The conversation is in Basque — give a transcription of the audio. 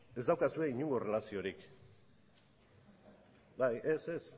ez daukazu inongo erlaziorik bai ez ez